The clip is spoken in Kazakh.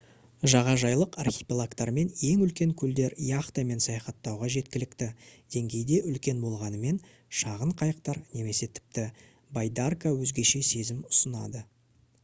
жағажайлық архипелагтар мен ең үлкен көлдер яхтамен саяхаттауға жеткілікті деңгейде үлкен болғанымен шағын қайықтар немесе тіпті байдарка өзгеше сезім ұсынады